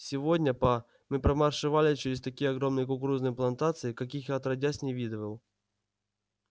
сегодня па мы промаршировали через такие огромные кукурузные плантации каких я отродясь не видывал